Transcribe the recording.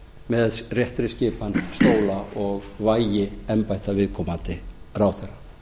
með réttri skipan stóla og vægi embætta viðkomandi ráðherra